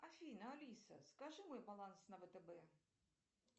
афина алиса скажи мой баланс на втб